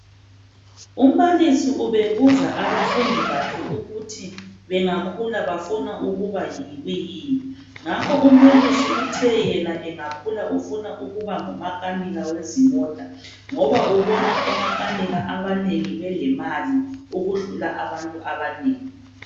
Umbalisi ubebuza abafundi bakhe ukuthi bengekhula bafuna ukuba yikuyini ngakho uMelusi uthe yena engakhula ufuna ukuba ngumakanika wezimota ngoba ubona omakanika abanengi belemali ukudlula abantu abaningi